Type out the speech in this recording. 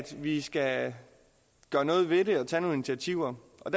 vi skal gøre noget ved det og tage nogle initiativer og